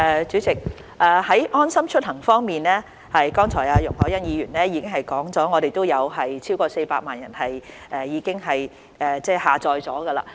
主席，在"安心出行"方面，剛才容海恩議員說過，現已有超過400萬人下載。